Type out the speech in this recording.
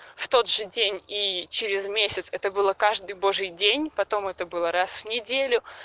в тот же день и через месяц это было каждый божий день потом это было раз в неделю